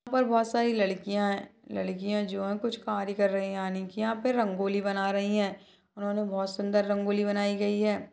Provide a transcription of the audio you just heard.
यहाँ पर बहुत सारी लड़कियाँ हैं लड़कियाँ जो हैं कुछ कार्य कर रही है यानि की यहाँ पर रंगोली बना रही है उन्होंने बहुत सुंदर रंगोली बनाई गई है।